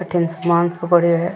अठीन सामान सो पड़यो है।